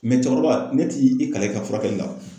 cɛkɔrɔba ne t'i kalan i ka furakɛli la.